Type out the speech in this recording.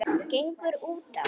gengur útá?